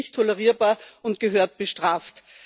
Es ist nicht tolerierbar und gehört bestraft.